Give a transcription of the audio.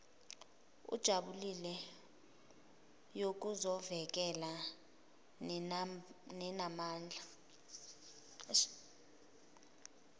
ejulile yokuzovokela nenamandla